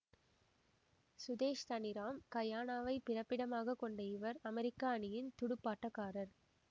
சுதேஷ் தனிராம் கயானாவைப் பிறப்பிடமாக கொண்ட இவர் அமெரிக்க அணியின் துடுப்பாட்டக்காரர்